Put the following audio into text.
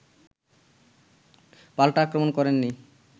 পাল্টা আক্রমণ করেন নি